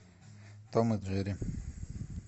том и джерри